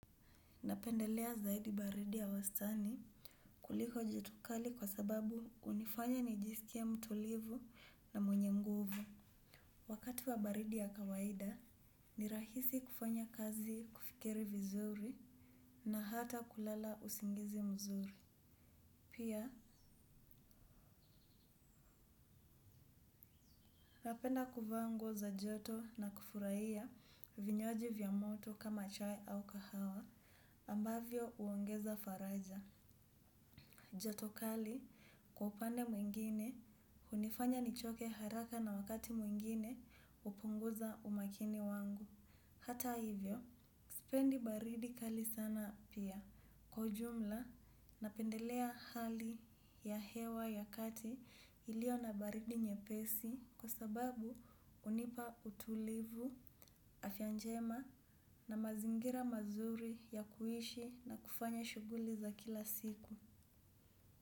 Napendelea zaidi baridi ya wastani kuliko jotokali kwa sababu hunifanya nijisikie mtulivu na mwenye nguvu. Wakati wa baridi ya kawaida, nirahisi kufanya kazi kufikiri vizuri na hata kulala usingizi mzuri. Pia, napenda kuvaanguo za joto na kufurahia vinywaji vya moto kama chai au kahawa ambavyo huongeza faraja. Joto kali kwa upande mwingine hunifanya nichoke haraka na wakati mwingine hupunguza umakini wangu. Hata hivyo, sipendi baridi kali sana pia. Kwaujumla, napendelea hali ya hewa ya kati iliyo na baridi nye pesi kwa sababu hunipa utulivu afyanjema na mazingira mazuri ya kuishi na kufanya shughuli za kila siku.